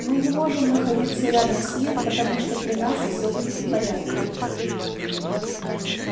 мы не можем находиться рядом с ним потому что при нас всё будет в порядке